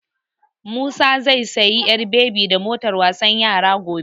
Musa zai sayi ƴar bebi da motar wasan yara gobe.